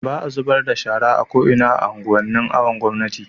baa zubarda da shara a ko'ina a unguwan nin awon gomnati